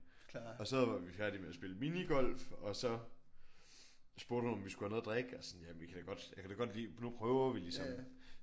Og så var vi færdige med at spille minigolf og så spurgte hun om vi skulle have noget at drikke og sådan ja vi kan da godt jeg kan da godt lige nu prøver vi ligesom